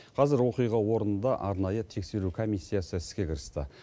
қазір оқиға орнында арнайы тексеру комиссиясы іске кірісті